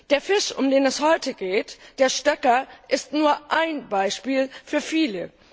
Der Fisch, um den es heute geht, der Stöcker, ist nur ein Beispiel für viele.